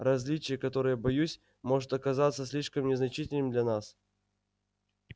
различие которое боюсь может оказаться слишком незначительным для нас